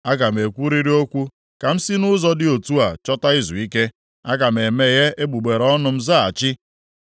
Aga m ekwurịrị okwu ka m sị nʼụzọ dị otu a chọta izuike; aga m emeghe egbugbere ọnụ m ma zaghachi.